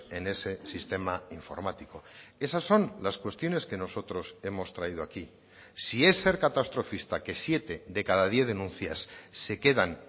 en ese sistema informático esas son las cuestiones que nosotros hemos traído aquí si es ser catastrofista que siete de cada diez denuncias se quedan